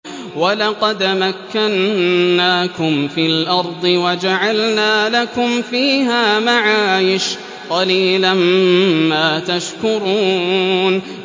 وَلَقَدْ مَكَّنَّاكُمْ فِي الْأَرْضِ وَجَعَلْنَا لَكُمْ فِيهَا مَعَايِشَ ۗ قَلِيلًا مَّا تَشْكُرُونَ